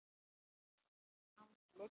Fínt andlit?